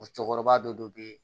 O cɛkɔrɔba dɔ de be yen